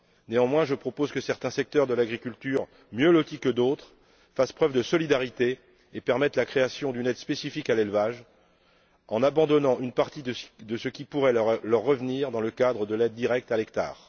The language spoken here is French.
Néanmoins, je propose que certains secteurs de l'agriculture mieux lotis que d'autres fassent preuve de solidarité et permettent la création d'une aide spécifique à l'élevage par l'abandon d'une partie des fonds qui pourraient leur revenir dans le cadre de l'aide directe à l'hectare.